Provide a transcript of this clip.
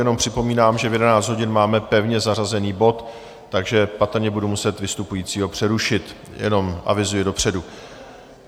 Jenom připomínám, že v 11 hodin máme pevně zařazený bod, takže patrně budu muset vystupujícího přerušit - jenom avizuji dopředu.